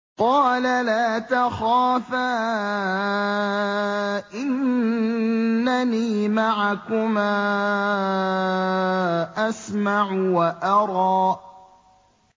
قَالَ لَا تَخَافَا ۖ إِنَّنِي مَعَكُمَا أَسْمَعُ وَأَرَىٰ